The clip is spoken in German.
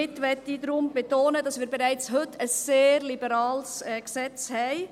Damit möchte ich betonen, dass wir bereits heute ein sehr liberales Gesetz haben.